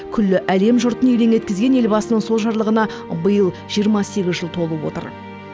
күллі әлем жұртын елең еткізген елбасының сол жарлығына биыл жиырма сегіз жыл толып отыр